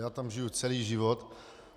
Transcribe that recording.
Já tam žiju celý život.